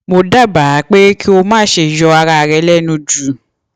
mo dábàá pé kí o má ṣe yọ ara rẹ lẹnu jù